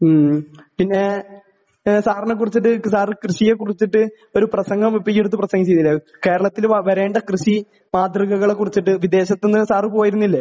ഉം പിന്നെ സാറിനെക്കുറിച്ചൊരു സാർ കൃഷിയെക്കുറിച്ചു ഒരു പ്രസംഗം നടത്തിയില്ലേ . കേരളത്തിൽ വരേണ്ട കൃഷിയെക്കുറിച്ചു വിദേശത്തുന്നു സാർ പോയിരുന്നിലെ